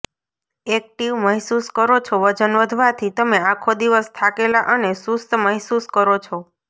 active મહેસૂસ કરો છોઃ વજન વધવાથી તમે આખો દિવસ થાકેલા અને સુસ્ત મહેસૂસ કરો છો